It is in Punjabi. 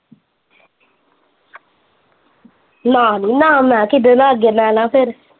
ਨਾ ਬੀ ਨਾ ਮੈਂ ਕਿਹਦੇ ਨਾਲ ਅੱਗੇ ਰਹਿਣਾ ਫਿਰ?